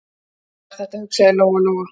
Svona er þetta, hugsaði Lóa-Lóa.